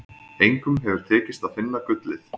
Engum hefur tekist að finna gullið.